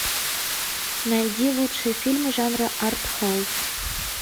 найди лучшие фильмы жанра артхаус